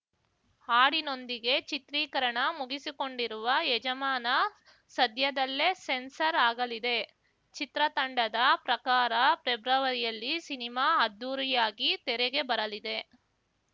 ಹಾಡಿನೊಂದಿಗೆ ಚಿತ್ರೀಕರಣ ಮುಗಿಸಿಕೊಂಡಿರುವ ಯಜಮಾನ ಸದ್ಯದಲ್ಲೇ ಸೆನ್ಸಾರ್ ಆಗಲಿದೆ ಚಿತ್ರತಂಡದ ಪ್ರಕಾರ ಪ್ರೆಬ್ರವರಿಯಲ್ಲಿ ಸಿನಿಮಾ ಅದ್ದೂರಿಯಾಗಿ ತೆರೆಗೆ ಬರಲಿದೆ